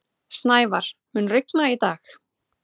Snævar, mun rigna í dag?